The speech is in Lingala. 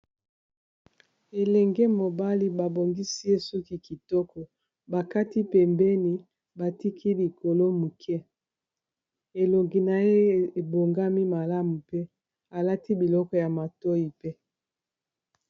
Elenge mobali babongisi ye suki kitoko bakati pembeni batiki likolo muke elongi na ye ebongami malamu mpe alati biloko ya matoyi pe.